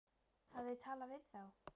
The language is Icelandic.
Hafið þið talað við þá?